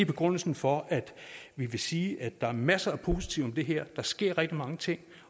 begrundelsen for at vi vil sige at der er masser af positive det her der sker rigtig mange ting